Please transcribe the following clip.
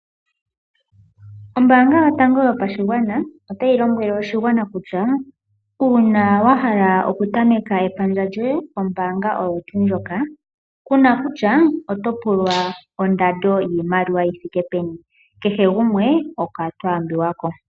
Ombaanga yotango yopashigwana otayi lombwele oshigwana kutya uuna wahala oku tameka epandja lyoye lyombaanga oyo tuu ndjoka, kuna kutya oto pulwa ondando yi thike peni, kehe gumwe okwa taambiwa ko.